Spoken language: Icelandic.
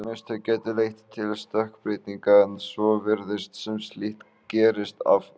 Mistök gætu leitt til stökkbreytinga en svo virðist sem slíkt gerist afar sjaldan.